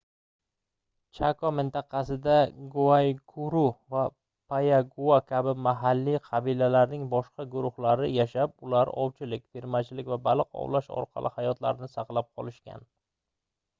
chako mintaqasida guaykuru va payagua kabi mahalliy qabilalarning boshqa guruhlari yashab ular ovchilik termachilik va baliq ovlash orqali hayotlarini saqlab qolishgan